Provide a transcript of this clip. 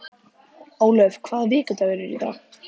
Ólöf, hvaða vikudagur er í dag?